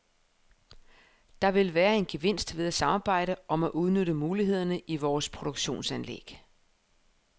Der vil være en gevinst ved at samarbejde om at udnytte mulighederne i vores produktionsanlæg.